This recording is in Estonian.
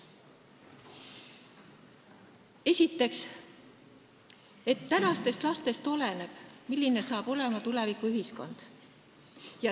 Esiteks, tänastest lastest oleneb, milline hakkab olema tulevikuühiskond.